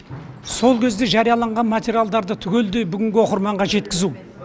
сол кезде жарияланған материалдарды түгелдей бүгінгі оқырманға жеткізу